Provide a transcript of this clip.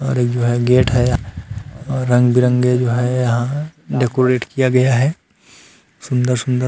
और जो है गेट है रंग बिरंगे जो है यहां डेकोरेट किया गया है सुंदर सुंदर।